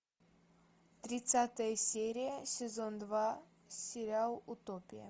тридцатая серия сезон два сериал утопия